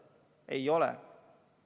Ei ole!